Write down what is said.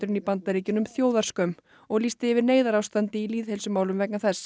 í Bandaríkjunum þjóðarskömm og lýsti yfir neyðarástandi í lýðheilsumálum vegna þess